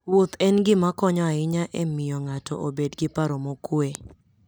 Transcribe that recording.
Wuoth en gima konyo ahinya e miyo ng'ato obed gi paro mokuwe.